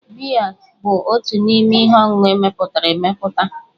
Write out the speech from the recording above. Biya bụ otu n'ime ihe ọṅụṅụ emepụtara emepụta.